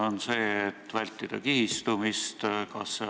Või see, et vältida kihistumist?